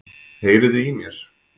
Heyriði í mér?